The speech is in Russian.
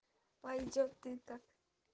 пойдёт и так